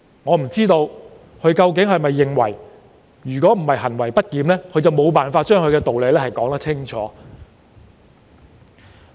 我不知道他是否因為自己行為不檢而無法將道理說清楚。